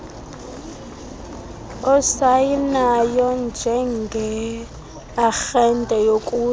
osayinayo njengearhente yokuthi